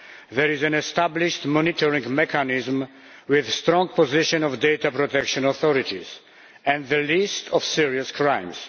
There is an established monitoring mechanism with a strong position for the data protection authorities, and a list of serious crimes.